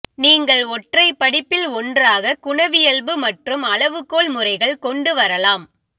நீங்கள் ஒற்றை படிப்பில் ஒன்றாக குணவியல்பு மற்றும் அளவுகோல் முறைகள் கொண்டு வரலாம்